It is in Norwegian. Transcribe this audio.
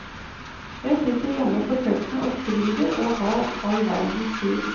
Jeg sitter hjemme på kjøkkenet og skriver og har all verdens tid.